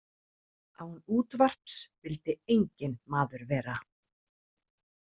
Án útvarps vildi enginn maður vera.